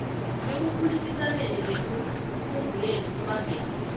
ekukhulumisaneni nekuphunguleni imbangela